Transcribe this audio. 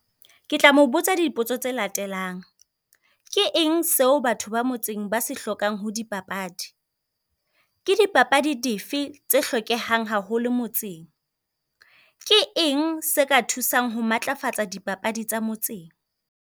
Ke tla mo botsa dipotso tse latelang, ke eng seo batho ba motseng ba se hlokang ho dipapadi? Ke dipapadi dife tse hlokehang haholo motseng? Ke eng se ka thusang ho matlafatsa dipapadi tsa motseng?